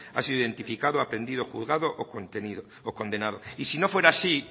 ha sido identificado aprendido juzgado o condenado y si no fuera así